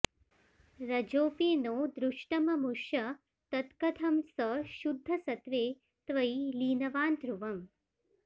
रजोऽपि नो दृष्टममुष्य तत्कथं स शुद्धसत्त्वे त्वयि लीनवान्ध्रुवम्